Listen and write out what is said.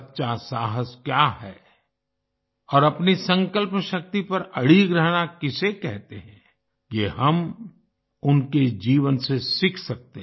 सच्चा साहस क्या है और अपनी संकल्प शक्ति पर अडिग रहना किसे कहते हैं ये हम उनके जीवन से सीख सकते हैं